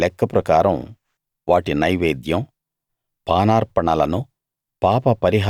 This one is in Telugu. వాటి వాటి లెక్క ప్రకారం వాటి నైవేద్యం పానార్పణలను